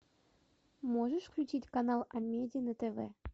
можешь включить канал амеди на тв